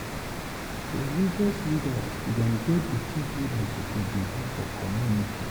Religious leaders dem get di tins wey dem suppose dey do for community.